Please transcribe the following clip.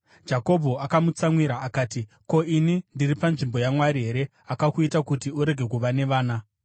Jakobho akamutsamwira akati, “Ko, ini ndiri panzvimbo yaMwari here akakuita kuti urege kuva nevana?”